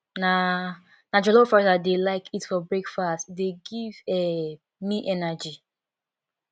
na na jollof rice i dey like eat for breakfast e dey give um me energy